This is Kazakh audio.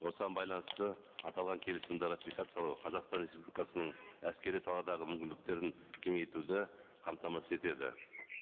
осыған байланысты аталған келісімді ратификациялау қазақстан республикасының әскери саладағы мүмкіндіктердің кеңейтуді қамтамасыз етеді